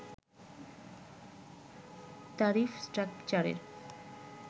tariff স্ট্রাকচারের